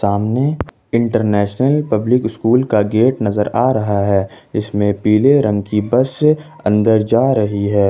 सामने international public school का gate नजर आ रहा है इसमें पीले रंग की बस अन्दर जा रही है।